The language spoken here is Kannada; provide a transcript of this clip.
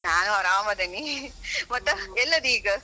ನಾನು ಆರಾಮದೇನಿ . ಮತ್ ಎಲ್ಲದಿ ಈಗ?